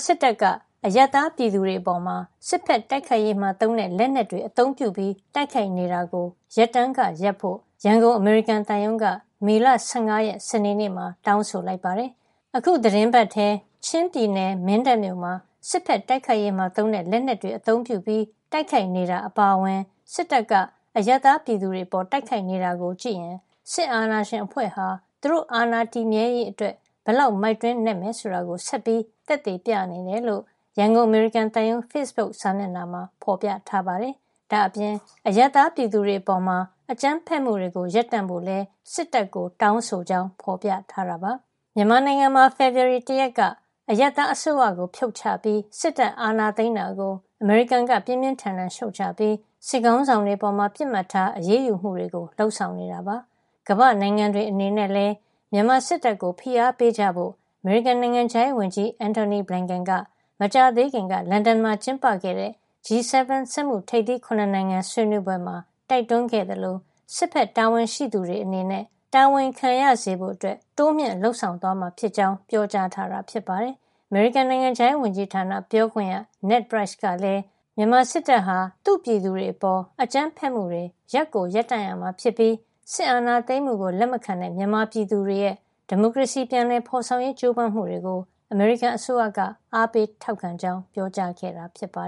စစ်တပ်က အရပ်သားပြည်သူတွေအပေါ် စစ်ဘက်တိုက်ခိုက်ရေးမှာ သုံးတဲ့ လက်နက်တွေနဲ့ အသုံးပြု တိုက်ခိုက်နေတာကို ရပ်တန်းကရပ်ဖို့ ရန်ကုန် အမေရိကန်သံရုံးက မေလ ၁၅ ရက် စနေနေ့မှာ တောင်းဆိုလိုက်ပါတယ်။ အခုသီတင်းပတ်ထဲ ချင်းပြည်နယ် မင်းတပ်မြို့မှာ စစ်ဘက်တိုက်ခိုက်ရေးမှာသုံးတဲ့ လက်နက်တွေ အသုံးပြုပြီး တိုက်ခိုက်နေတာ အပါအဝင် စစ်တပ်က အရပ်သားပြည်သူတွေအပေါ် တိုက်ခိုက်နေတာကိုကြည့်ရင် စစ်အာဏာရှင်အဖွဲ့ဟာ သူတို့အာဏာတည်မြဲရေးအတွက် ဘယ်လောက် မိုက်တွင်းနက်မယ် ဆိုတာကို ဆက်ပြီး သက်သေပြနေတယ်လို့ ရန်ကုန် အမေရိကန်သံရုံး ဖေ့စ်ဘုတ်စာမျက်နှာမှာ ဖော်ပြထားပါတယ်။ ဒါ့အပြင် အရပ်သားပြည်သူတွေအပေါ် အကြမ်းဖက်မှုတွေကို ရပ်တန့်ဖို့လည်း စစ်တပ်ကို တောင်းဆိုကြောင်း ဖော်ပြထားပါတယ်။ မြန်မာနိုင်ငံမှာ ဖေဖော်ဝါရီလ ၁ ရက်က အရပ်သားအစိုးရကို ဖြုတ်ချပြီး စစ်တပ်အာဏာသိမ်းတာကို အမေရိကန်က ပြင်းပြင်းထန်ထန်ရှုတ်ချပြီး စစ်ခေါင်းဆောင်တွေအပေါ် ပစ်မှတ်ထား အရေးယူမှုတွေ လုပ်ဆောင်နေတာပါ။ ကမ္ဘာ့နိုင်ငံတွေအနေနဲ့လည်း မြန်မာစစ်တပ်ကို ဖိအားပေးကြဖို့ အမေရိကန် နိုင်ငံခြားရေးဝန်ကြီး Antony Blinken က မကြာသေးခင်က လန်ဒန်မှာ ကျင်းပခဲ့တဲ့ G7 စက်မှုထိပ်သီး ၇ နိုင်ငံ ဆွေးနွေးပွဲမှာ တိုက်တွန်းခဲ့သလို စစ်ဘက်တာဝန်ရှိသူတွေ အနေနဲ့ တာဝန်ခံရစေဖို့ တိုးမြှင့်လုပ်ဆောင်သွားမှာဖြစ်ကြောင်း ပြောကြားထားတာ ဖြစ်ပါတယ်။ အမေရိကန် နိုင်ငံခြားရေးဝန်ကြီးဌာန ပြောခွင့်ရ Ned Price ကလည်း မြန်မာစစ်တပ်ဟာ သူ့ပြည်သူတွေအပေါ် အကြမ်းဖက်မှုတွေ ရပ်ကိုရပ်တန့်ရမှာဖြစ်ပြီး စစ်အာဏာသိမ်းမှုကို လက်မခံတဲ့ မြန်မာပြည်သူတွေရဲ့ ဒီမိုကရေစီ ပြန်လည်ဖော်ဆောင်ရေး ကြိုးပမ်းမှုတွေကို အမေရိကန်အစိုးရက အားပေးထောက်ခံကြောင်း ပြောကြားခဲ့တာပါ